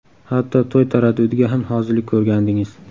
Hatto to‘y taraddudiga ham hozirlik ko‘rgandingiz.